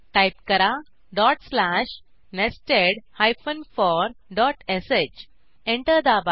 type करा dot slash nested four dot sh enter दाबा